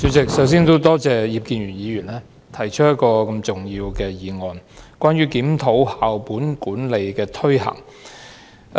代理主席，我首先多謝葉建源議員動議這項重要的"檢討校本管理的推行"議案。